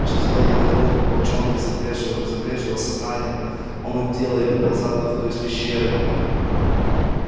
ещё задолго до того как в волчонке забрезжило сознание он то и дело подползал к выходу из пещеры